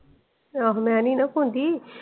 ਆਹੋ ਮੈਂ ਨੀ ਨਾ ਕੂੰਦੀ।